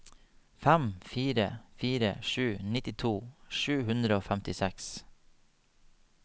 fem fire fire sju nittito sju hundre og femtiseks